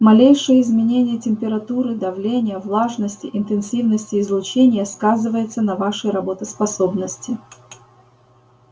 малейшее изменение температуры давления влажности интенсивности излучения сказывается на вашей работоспособности